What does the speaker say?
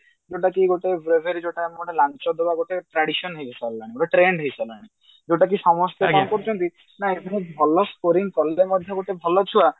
ଯୋଉଟା କି ଗୋଟେ breviary ଯୋଉଟା ଆମର ଗୋଟେ ଲାଞ୍ଚ ଦବା ଗୋଟେ tradition ହେଇସାରିଲାଣି ଗୋଟେ trend ହେଇସାରିଲାଣି ଯୋଉଟା କି ସମସ୍ତେ କଣ କରୁଛନ୍ତି ଏଥିରେ ଭଲ scoring କଲେ ମଧ୍ୟ ଗୋଟେ ଭଲ ଛୁଆ